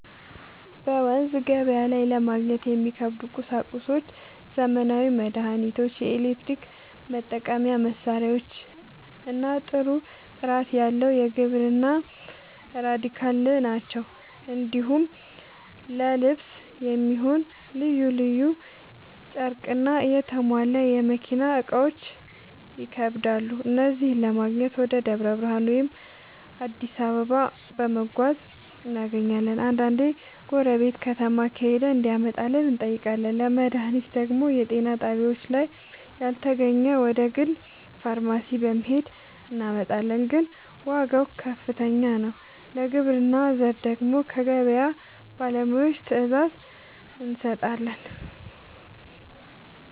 በመንዝ ገበያ ላይ ለማግኘት የሚከብዱ ቁሳቁሶች ዘመናዊ መድሃኒቶች፣ የኤሌክትሪክ መጠቀሚያ መሳሪያዎችና ጥሩ ጥራት ያለው የግብርና ᛢል ናቸው። እንዲሁም ለልብስ የሚሆን ልዩ ልዩ ጨርቅና የተሟላ የመኪና እቃዎች ይከብዳሉ። እነዚህን ለማግኘት ወደ ደብረ ብርሃን ወይም አዲስ አበባ በመጓዝ እናገኛለን፤ አንዳንዴ ጎረቤት ከተማ ከሄደ እንዲያመጣልን እንጠይቃለን። ለመድሃኒት ደግሞ የጤና ጣቢያችን ላይ ካልተገኘ ወደ ግል ፋርማሲ በመሄድ እናመጣለን፤ ግን ዋጋው ከፍተኛ ነው። ለግብርና ዘር ደግሞ ከገበያ ባለሙያዎች ትዕዛዝ እንሰጣለን።